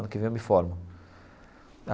Ano que vem eu me formo.